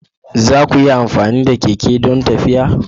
Za ku iya amfani da keke don tafiya?